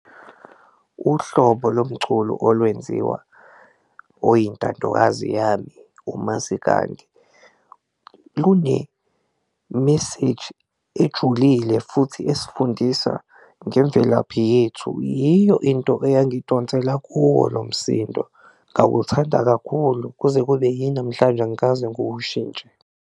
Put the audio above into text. Uhlobo lomculo olwenziwa oyintandokazi yami umasikandi lune meseji ejulile futhi esifundisa ngemvelaphi yethu, yiyo into eyangidonsela kuwo lo msindo ngawuthanda kakhulu kuze kube yinamhlanje angikaze ngiwushintshe.